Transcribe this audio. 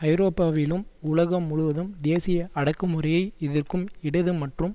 ஐரோப்பாவிலும் உலகம் முழுவதும் தேசிய அடக்குமுறையை எதிர்க்கும் இடது மற்றும்